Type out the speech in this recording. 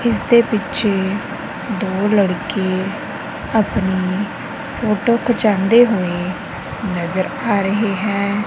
ਇਸਦੇ ਪਿੱਛੇ ਦੋ ਲੜਕੀ ਆਪਣੀ ਫੋਟੋ ਖਚਾਂਦੇ ਹੋਏ ਨਜ਼ਰ ਆ ਰਹੀ ਹੈਂ।